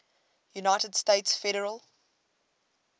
united states federal